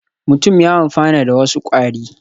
Mutum ya amfana da wasu kwari